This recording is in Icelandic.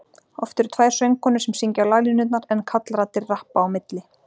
oft eru tvær söngkonur sem syngja laglínurnar en karlraddir rappa á milli